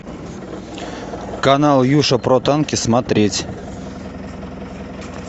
канал юша про танки смотреть